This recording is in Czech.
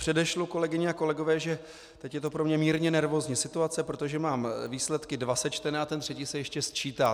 Předešlu, kolegyně a kolegové, že teď je to pro mě mírně nervózní situace, protože mám výsledky dva sečtené a ten třetí se ještě sčítá.